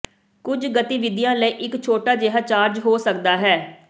ਕੁਝ ਗਤੀਵਿਧੀਆਂ ਲਈ ਇੱਕ ਛੋਟਾ ਜਿਹਾ ਚਾਰਜ ਹੋ ਸਕਦਾ ਹੈ